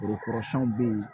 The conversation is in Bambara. Foro kɔrɔsɛnw bɛ yen